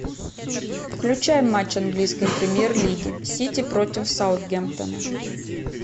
включай матч английской премьер лиги сити против саутгемптона